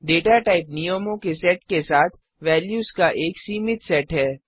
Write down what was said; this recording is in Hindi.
डेटा टाइप नियमों के सेट के साथ वेल्यूज का एक सीमित सेट है